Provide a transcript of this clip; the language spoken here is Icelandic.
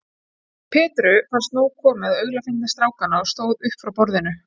Petru fannst nóg komið af aulafyndni strákanna og stóð upp frá borðinu.